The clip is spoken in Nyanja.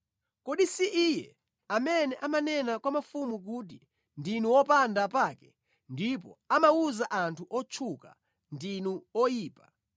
Kodi si Iye amene amanena kwa mafumu kuti, ‘Ndinu opanda pake,’ ndipo amawuza anthu otchuka, ‘Ndinu oyipa,’